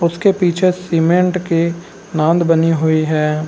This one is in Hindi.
उसके पीछे सीमेंट के नांद बनी हुई है।